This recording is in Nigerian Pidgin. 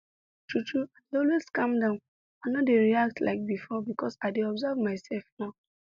true true i dey always calm down i no dey react like before because i dey observe my self now